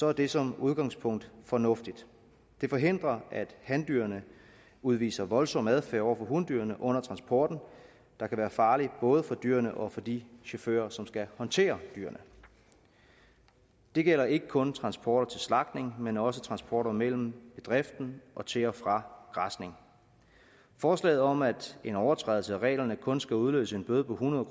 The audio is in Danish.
er det som udgangspunkt fornuftigt det forhindrer at handyrene udviser en voldsom adfærd over for hundyrene under transporten der kan være farlig både for dyrene og for de chauffører som skal håndtere dyrene det gælder ikke kun transporter til slagtning men også transporter mellem bedriften og til og fra græsning forslaget om at en overtrædelse af reglerne kun skal udløse en bøde på hundrede